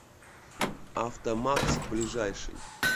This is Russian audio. автомакс ближайший